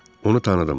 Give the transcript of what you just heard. Onu tanıdım.